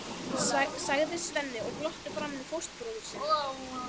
sagði Svenni og glotti framan í fóstbróður sinn.